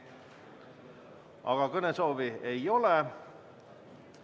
Aga kõnesoovi ei ole.